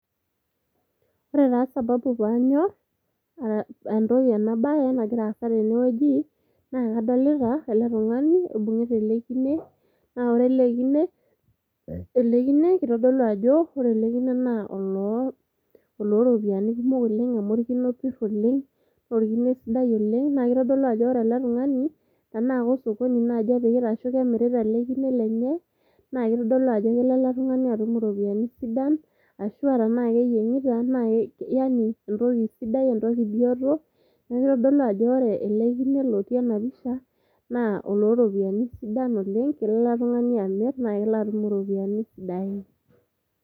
Ore taa sababu panyor entoki ena bae nagira aasa tene wueji naa kadolita ele tungani oibungita ele kine , naa ore line ,ore ele kine kitodoulu ajo oloo oloropiyiani kumok oleng orkine opir oleng, naa orkine sidai ele . Naa kitodolu ajo ore ele tungani tenaa kosokoni naji emirita ele kine lenye naa kitodolu ajo kelo ele tungani atum iropiyiani sidan ashuaa tenaa keyiengita naa yanientoki sidai ,, entokibioto . Niaku kitodolu ajo ore ele kine lotii ena pisha naa oloropiyiani sidan oleng , kelo ele tungani amir naa kelo atum iropiyiani sidain.